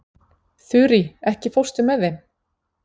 Þurí, ekki fórstu með þeim?